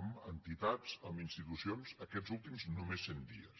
amb entitats amb institucions aquests últims només cent dies